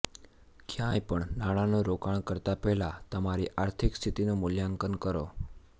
ક્યાંય પણ નાણાંનું રોકાણ કરતાં પહેલાં તમારી આર્થિક સ્થિતિનું મૂલ્યાંકન કરો